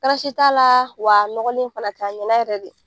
Karasi t'a laa wa a nɔgɔlen fana tɛ, a ɲɛna yɛrɛ de.